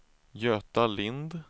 Göta Lindh